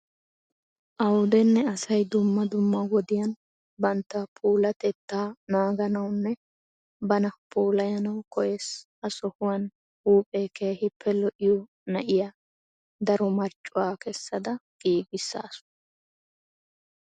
Awudenne asay dumma dumma wodiyan bantta puulatettaa naaganawunne bana puulayanawu koyees. Ha sohuwan huuphee keehippe lo'iyo na'iya daro marccuwa kessada giigaasu.